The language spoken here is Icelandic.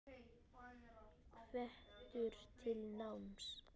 Hvetur til náms.